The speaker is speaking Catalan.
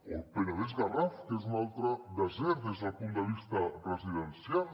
o el penedès·garraf que és un altre desert des del punt de vista residencial